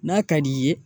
N'a ka d'i ye